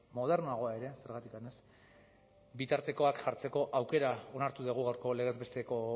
modernoagoa ere zergatik ez bitartekoak jartzeko aukera onartu dugu gaurko legez besteko